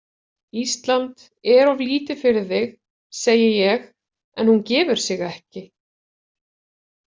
Ísland er of lítið fyrir þig, segi ég en hún gefur sig ekki.